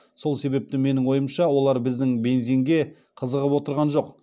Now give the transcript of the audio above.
сол себепті менің ойымша олар біздің бензинге қызығып отырған жоқ